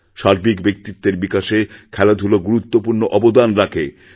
সার্বিক ব্যক্তিত্বের বিকাশে খেলাধুলা গুরুত্বপূর্ণ অবদান রাখে